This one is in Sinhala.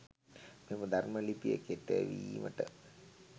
මෙම ධර්ම ලිපිය කෙටවීමට